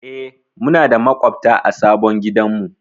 Eh, muna da maƙwabta a sabon gidanmu.